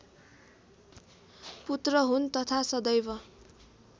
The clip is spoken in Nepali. पुत्र हुन् तथा सदैव